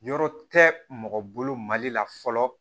Yɔrɔ tɛ mɔgɔ bolo mali la fɔlɔ